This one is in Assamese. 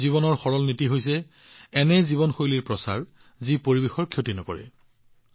মিছন লাইফৰ সৰল নীতিটো হল এনে জীৱনশৈলী প্ৰচাৰ কৰা যি পৰিৱেশৰ ক্ষতি নকৰে